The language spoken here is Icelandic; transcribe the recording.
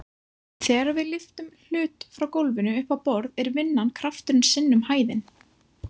Þegar við lyftum hlut frá gólfinu upp á borð er vinnan krafturinn sinnum hæðin.